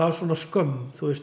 svona skömm